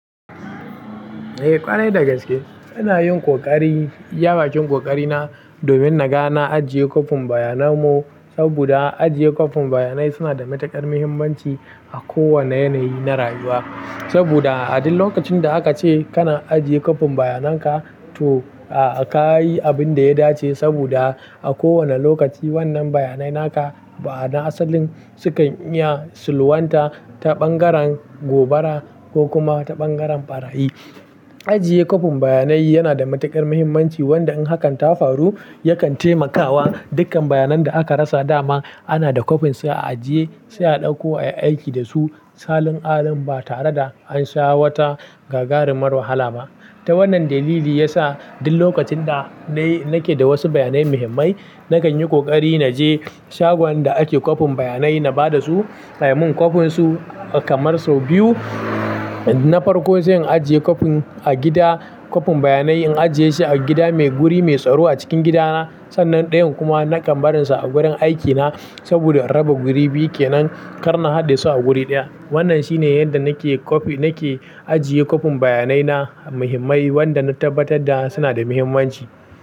Eh ƙarai dagaske ina yin ƙoƙari. Iya bakin ƙoƙari na domin na ga na ajiye kofin bayanan mu. Saboda ajiye kofin bayanai suna da matuƙar muhimmanci a kowane yanayi na rayuwa. Saboda a duk lokacin da aka ce kana ajiye kwafin bayanan ka to ka yi abin da ya dace. Saboda a kowane lokaci wannan bayanai naka ba'ana asalin sukan iya sulhunta ta ɓangaren gobara ko kuma ta ɓangaren ɓarayi. Ajiye kwafin bayanai yana da matuƙar muhimmanci wanda in hakan ta faru yakan taimakawa dukkan bayan nan da aka rasa dama ana da kwafin sa a ajiye sai a ɗauko a yi aiki da su. Salin alin ba tare da an sha wata gagarumar wahala ba. Ta wannan dalili ya sa duk lokacin da ni nake da wasu bayanai muhimmai nakan yi ƙoƙari na je shagon da ake kwafin bayanai na ba da su a yi min kwafin su kamar sau biyu. Na farko zan ajiye kwafin a gida kwafin bayanai in ajiye shi a gida mai guri mai tsaro a cikin gidana. Sannan ɗayan kuma nakan barin sa a gurin aikina saboda raba guri biyu ke nan karnar hadda su a guri ɗaya. Wannan shine yadda nake kwafi nake ajiye kwafin bayanai na muhimmai wanda na tabbatar da suna da muhimmanci.